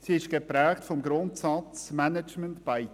Sie ist geprägt vom Grundsatz «management by